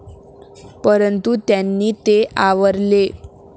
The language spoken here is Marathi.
परंतू त्यांनी ते आवरले.